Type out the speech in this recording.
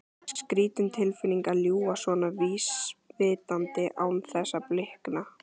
Skrýtin tilfinning að ljúga svona vísvitandi án þess að blikna.